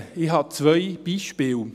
Ich habe zwei Beispiele: